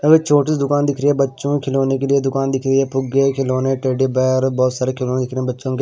छोटी सी दुकान दिख रही है बच्चों खिलौने के लिए दुकान दिख रही है फुग्गे खिलौने टेडी बियर बहोत सारे खिलौने दिख रहे हैं बच्चों के --